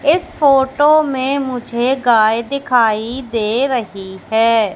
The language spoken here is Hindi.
इस फोटो में मुझे गाय दिखाई दे रही है।